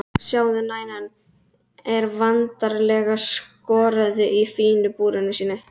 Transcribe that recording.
Sjáðu, mænan er vandlega skorðuð í fína búrinu sínu.